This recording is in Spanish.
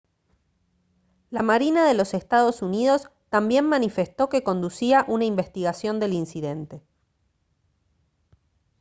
la marina de los estados unidos también manifestó que conducía una investigación del incidente